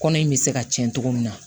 Kɔnɔ in bɛ se ka cɛn cogo min na